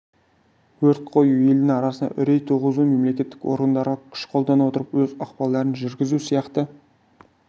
өрт қою елдің арасына үрей туғызу мемлекеттік органдарға күш қолдана отырып өз ықпалдарын жүргізу сияқты